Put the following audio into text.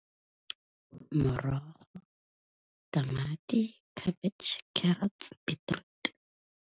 Morogo, tamati, khabetšhe, carrots, beetroot.